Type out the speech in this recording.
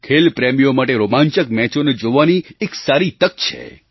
ખેલ પ્રેમીઓ માટે રોમાંચક મેચોને જોવાની એક સારી તક છે